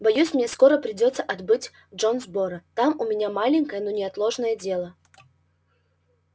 боюсь мне скоро придётся отбыть в джонсборо там у меня маленькое но неотложное дело